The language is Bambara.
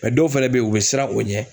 Mɛ dɔw fɛnɛ be yen u be siran o ɲɛ